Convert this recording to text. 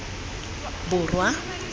borwa